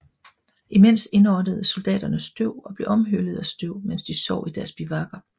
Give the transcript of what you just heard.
Imens indåndede soldaterne støv og blev omhyllet af støv mens de sov i deres bivuakker